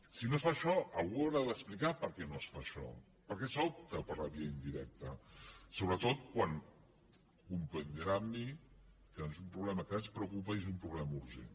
si no es fa això algú haurà d’explicar per què no es fa això per què s’opta per la via indirecta sobretot quan comprendrà amb mi que és un problema que ens preocupa i és un problema urgent